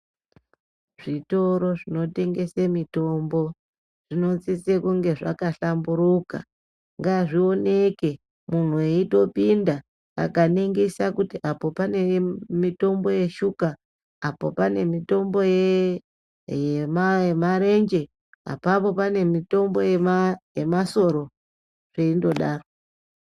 Zvitoro zvinotengese mitombo zvinosise kunge zvakahlamburuka. Ngazvioneke munhu eitopinda akaningisa kuti apo pane mitombo yeshuka, apo pane mitombo yemarenje apapo pane mitombo yemasoro zveindodaro.